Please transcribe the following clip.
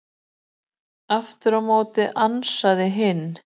Aftur á móti ansaði hinn: